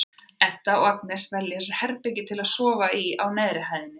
Edda og Agnes velja sér herbergi til að sofa í á neðri hæðinni.